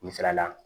Misala la